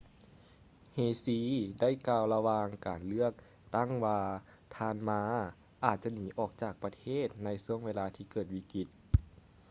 hsieh ໄດ້ກ່າວລະຫວ່າງການເລືອກຕັ້ງວ່າທ່ານ ma ອາດຈະໜີອອກຈາກປະເທດໃນຊ່ວງເວລາທີ່ເກີດວິກິດ